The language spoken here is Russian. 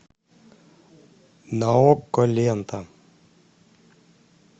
на окко лента